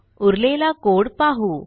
उरलेला कोड पाहू